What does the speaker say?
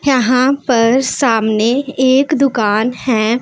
यहां पर सामने एक दुकान है।